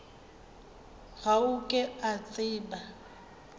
ga o ke o tseba